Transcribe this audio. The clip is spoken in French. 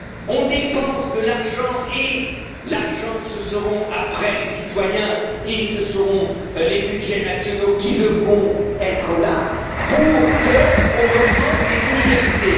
On dépense de l'argent et après, ce seront les citoyens et ce seront les budgets nationaux qui devront être là pour que l'on augmente les inégalités.